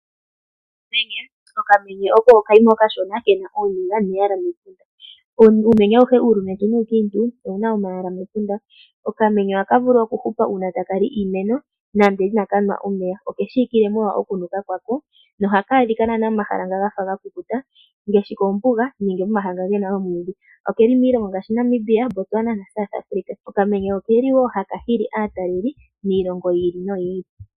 Okamenye oko okanamwenyo okashona kena ooniga neyala mepunda. Uumenye auhe uulumentu nuukiintu owuna omayala mepunda . Okamenye ohaka vulu okuhupa uuna taka li iimeno nande inaka nwa omeya. Oke shiwikile molwa okunuka kwako nohaka adhika momahala naanaa nga gafa gakukuta ngaashi oombuga nenge momahala nga gena oomwiidhi. Okuli wo miilongo ngaashi Namibia, Botswana naSouth Afrika. Okamenye okeli woo haka hili aatalelipo miilongo yili noyili.